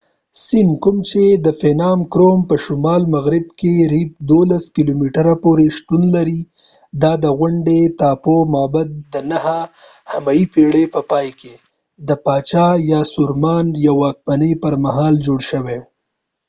phnom krom کوم چي د siem reap په شمال مغرب کي 12 کلوميتره پوري شتون لرې دا د غونډۍ ټاپو معبد د 9 همي پیړۍ په پای کې د پاچا یاسوارمان د واکمنۍ پرمهال جوړ شوی و